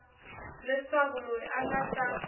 leswaku loyi a nga ta